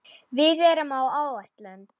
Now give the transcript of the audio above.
Við erum á áætlun.